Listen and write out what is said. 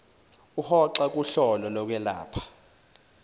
uhoxa kuhlolo lokwelapha